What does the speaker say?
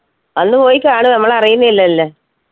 അന്ന് പോയി കാണ് നമ്മൾ അറിയുന്നില്ലല്ല